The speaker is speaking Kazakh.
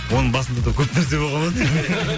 оның басында да көп нәрсе болған ау деймін